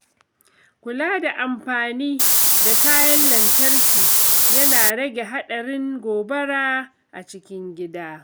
Kula da amfani da kayan lantarki yana rage haɗarin gobara a cikin gida.